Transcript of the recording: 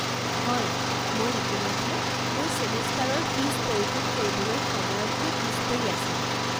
হয়, মই ইতিমধ্যে মোৰ ছিমেষ্টাৰৰ ফীজ পৰিশোধ কৰিবলৈ সময়তকৈ পিছ পৰি আছিলোঁ।